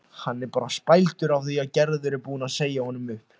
Hann er bara spældur af því að Gerður er búin að segja honum upp